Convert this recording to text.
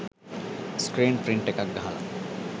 screen print එකක් ගහලා